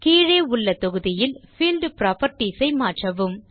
கீழே உள்ள தொகுதியில் பீல்ட் புராப்பர்ட்டீஸ் ஐ மாற்றவும்